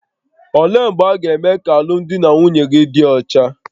Olee mgbe a ga-eme ka alụmdi na nwunye gị dị ọcha?